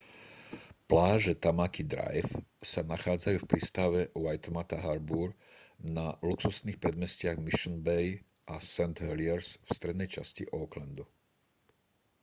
pláže tamaki drive sa nachádzajú v prístave waitemata harbour na luxusných predmestiach mission bay a st heliers v strednej časti aucklandu